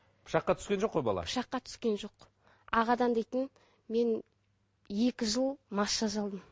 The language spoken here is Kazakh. пышаққа түскен жоқ ой бала пышаққа түскен жоқ ағадан дейтін мен екі жыл массаж алдым